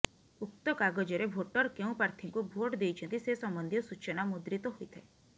ଉକ୍ତ କାଗଜରେ ଭୋଟର୍ କେଉଁ ପ୍ରାର୍ଥୀଙ୍କୁ ଭୋଟ୍ ଦେଇଛନ୍ତି ସେ ସମ୍ବନ୍ଧୀୟ ସୂଚନା ମୁଦ୍ରିତ ହୋଇଥାଏ